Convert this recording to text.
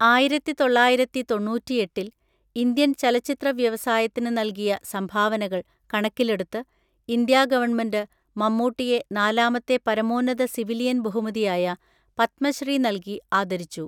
ആയിരത്തി തൊള്ളായിരത്തി തൊണ്ണൂറ്റിഎട്ടിൽ, ഇന്ത്യൻ ചലച്ചിത്ര വ്യവസായത്തിന് നൽകിയ സംഭാവനകൾ കണക്കിലെടുത്ത് ഇന്ത്യാ ഗവൺമെൻറ്റ്, മമ്മൂട്ടിയെ നാലാമത്തെ പരമോന്നത സിവിലിയൻ ബഹുമതിയായ പത്മശ്രീ നൽകി ആദരിച്ചു.